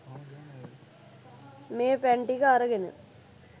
මේ පැන් ටික අරගෙන